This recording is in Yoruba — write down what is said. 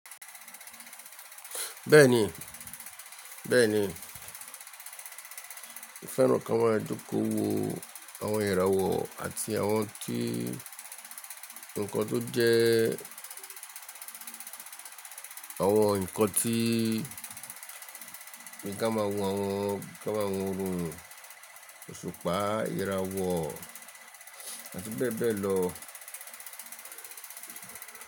Bẹ́ẹ̀ni, bẹ́ẹ̀ni. Mo fẹ́ràn kí a máa jókòó wo àwọn ìràwọ̀ àti àwọn tí, ǹkan tó jẹ́, àwọn ǹkan tí, bí kí a máa wo àwọn, kí a máa wo òórùn òṣùpá, ìràwọ̀ àti bẹ́ẹ̀ bẹ́ẹ̀ lọ.